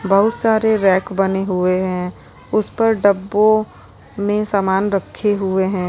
बहुत सारे रैक बने हुए हैं उस पर डब्बों में सामान रखे हुए हैं।